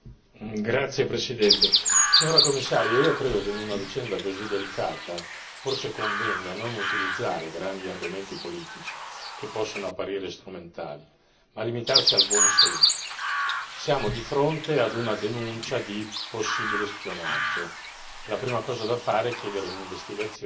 Signora Presidente, onorevoli colleghi, signora Commissario, io credo che in una vicenda così delicata, forse, convenga non utilizzare grandi argomenti politici che possano apparire strumentali ma limitarsi al buon senso siamo di fronte a una denuncia di possibile spionaggio, la prima cosa da fare è chiedere un'investigazione